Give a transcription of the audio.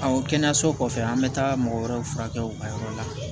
kɛnɛyaso kɔfɛ an bɛ taa mɔgɔ wɛrɛw furakɛ u ka yɔrɔ la